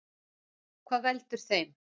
Hvað veldur þeim?